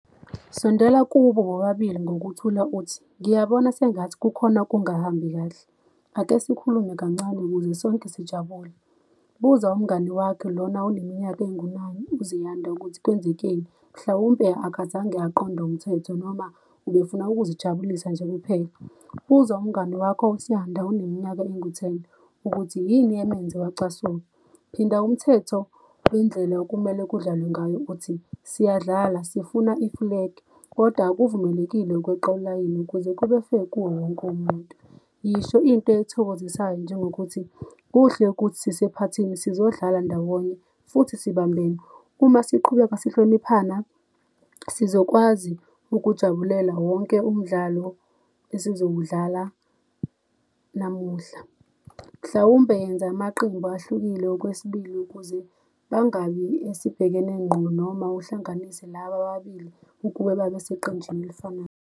Sondela kubo bobabili ngokuthula uthi, ngiyabona sengathi kukhona okungahambi kahle, ake sikhulume kancane ukuze sonke sijabule. Buza umngani wakhe lona uneminyaka engu-nine, uZiyanda ukuthi kwenzekeni. Mhlawumpe akazange aqonde umthetho, noma ubefuna ukuzijabulisa nje kuphela. Buza umngani wakho uSiyanda oneminyaka engu-ten ukuthi yini emenze wacasuka. Phinda umthetho wendlela okumele kudlalwe ngayo uthi, siyadlala, sifuna ifulege kodwa akuvumelekile ukweqa ulayini ukuze kube-fair kuwo wonke umuntu. Yisho into ethokozisayo, njengokuthi, kuhle ukuthi sisephathini, sizodlala ndawonye futhi sibambene. Uma siqhubeka sihloniphana, sizokwazi ukujabulela wonke umdlalo esizowudlala namuhla. Mhlawumbe yenza amaqembu ahlukile okwesibili ukuze bangabi esibhekene ngqo noma uhlanganise laba ababili ukube babe seqenjini elifanayo.